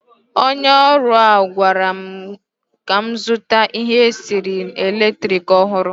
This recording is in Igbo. Onye ọrụ ahụ gwara m ka m zụta ihe esi nri eletrik ọhụrụ.